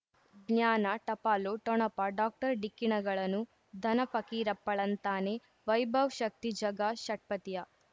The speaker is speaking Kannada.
ಜ್ಞಾನ ಟಪಾಲು ಠೊಣಪ ಡಾಕ್ಟರ್ ಢಿಕ್ಕಿ ಣಗಳನು ಧನ ಫಕೀರಪ್ಪ ಳಂತಾನೆ ವೈಭವ್ ಶಕ್ತಿ ಝಗಾ ಷಟ್ಪದಿಯ